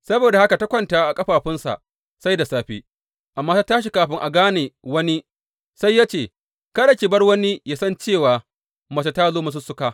Saboda haka ta kwanta a ƙafafunsa sai da safe, amma ta tashi kafin a gane wani, sai ya ce, Kada ki bar wani yă san cewa mace ta zo masussuka.